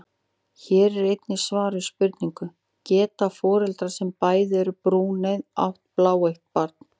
Hér er einnig svar við spurningunni: Geta foreldrar sem bæði eru brúneygð átt bláeygt barn?